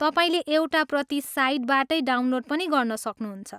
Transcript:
तपाईँले एउटा प्रति साइटबाटै डाउनलोड पनि गर्न सक्नुहुन्छ।